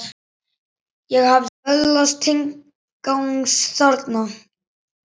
Ég hafði öðlast tilgang þarna.